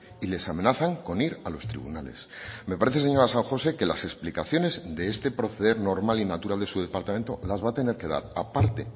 y les amenazan con ir a los tribunales me parece señora san josé que las explicaciones de este proceder normal y natural de su departamento las va a tener que dar a parte